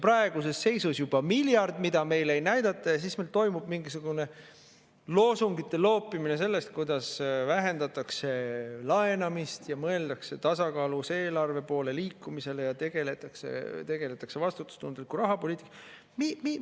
Praeguses seisus juba miljard, mida meile ei näidata, ja siis meil toimub mingisugune loosungite loopimine sellest, kuidas meil vähendatakse laenamist ja mõeldakse tasakaalus eelarve poole liikumisele ja tegeletakse vastutustundliku rahapoliitikaga.